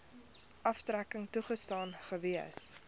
aftrekking toegestaan gewees